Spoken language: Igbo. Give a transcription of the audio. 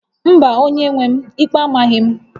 Mba, onye-nwe m, ikpe amaghị m